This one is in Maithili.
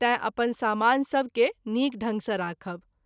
तैं अपन समान सभ के नीक ढंग सँ राखब।